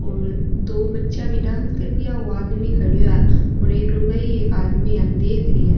और दो बचा भी डांस कर रिया ओ आदमी खड़ो है और एक लुगाई एक आदमी आन देख रिया है।